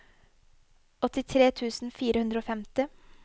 åttitre tusen fire hundre og femti